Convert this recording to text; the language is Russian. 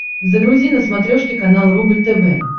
загрузи на смотрешке канал рубль тв